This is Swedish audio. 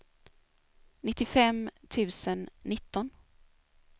nittiofem tusen nitton